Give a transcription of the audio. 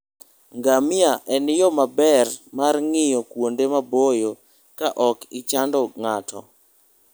Ngamia en yo maber mar ng'iyo kuonde maboyo ka ok ichando ng'ato.